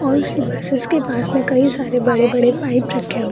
और उसी बसेज के पास कई सारे बड़े-बड़े पाइप रखे हुए है।